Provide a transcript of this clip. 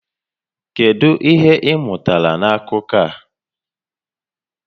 Kedu ihe ị mụtara na akụkọ a?